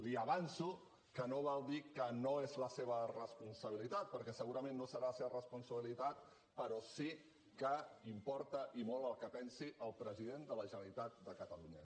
li avanço que no val dir que no és la seva responsabilitat perquè segurament no serà la seva responsabilitat però sí que importa i molt el que pensi el president de la generalitat de catalunya